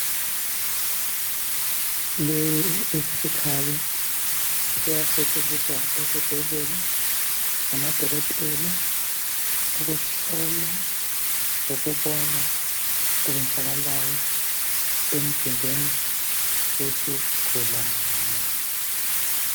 Lesi yisikhali siyasetshenziswa esibhedlela ngamadokotela ukuhlola lokubona okwenzakalayo emzimbeni wesigulane.